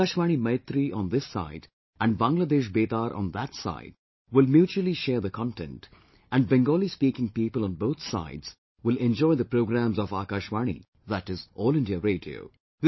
So, Akashvani Maitree on this side and Bangladesh Betaar on that side will mutually share the content and Bengali speaking people on both sides will enjoy the programmes of Akashvani, that is, All India Radio